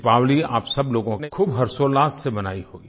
दीपावली आप सब लोगों के लिए खूब हर्षोल्लास से मनायी होगी